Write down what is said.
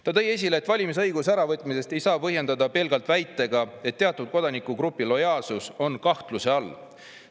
Ta tõi esile, et valimisõiguse äravõtmist ei saa põhjendada pelgalt väitega, et teatud kodanikugrupi lojaalsus on kahtluse all.